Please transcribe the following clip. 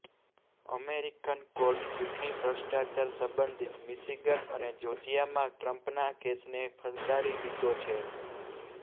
American કોર્ટે ચૂંટણી ભ્રષ્ટાચાર સંબંધિત મિશિગન અને જોર્જિયામાં ટ્રમ્પના કેસને ફગાવી દીધો છે